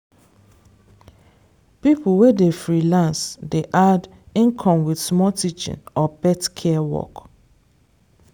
people wey dey freelance dey add income with small teaching or pet care work.